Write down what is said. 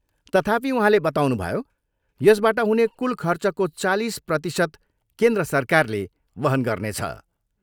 तथापि, उहाँले बताउनुभयो, यसबाट हुने कुल खर्चको चालिस प्रतिशत केन्द्र सरकारले वहन गर्नेछ।